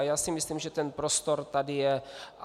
A já si myslím, že ten prostor tady je.